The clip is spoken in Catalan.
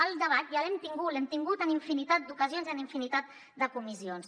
el debat ja l’hem tingut l’hem tingut en infinitat d’ocasions i en infinitat de comissions